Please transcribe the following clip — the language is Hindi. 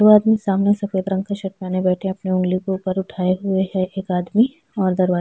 एक आदमी सामने से सफेद रंग के शर्ट पहन के बैठा हुआ है अपने ऊँगली ऊपर उठाये हुए है एक आदमी और दराजा --